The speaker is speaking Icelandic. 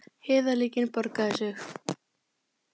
Heiðarleikinn borgaði sig